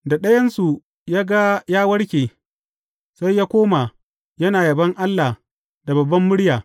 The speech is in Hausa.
Da ɗayansu ya ga ya warke, sai ya koma, yana yabon Allah da babbar murya.